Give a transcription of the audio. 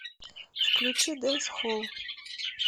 включи дэнсхолл